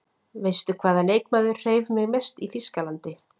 Veistu hvaða leikmaður hreif mig mest í Þýskalandi?